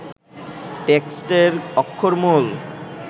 টেক্সটের অক্ষরমূল